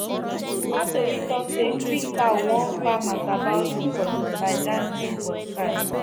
one tori talk say three crow warn farmers about locusts by dancing for sky